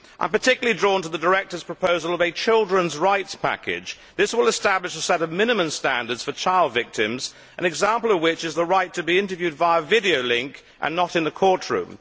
I am particularly drawn to the directive's proposal for a children's rights package. This will establish a set of minimum standards for child victims, an example of which is the right to be interviewed by a video link and not in the court room.